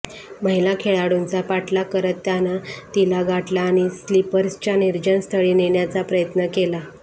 महिला खेळाडूचा पाठलाग करत त्यानं तिला गाठलं आणि स्लीपर्सच्या निर्जन स्थळी नेण्याचा प्रयत्न केला